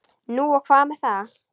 Nú og hvað með það?